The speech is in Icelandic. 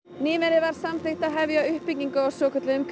nýverið var samþykkt að hefja uppbyggingu á svokölluðum